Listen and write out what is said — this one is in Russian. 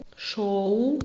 шоу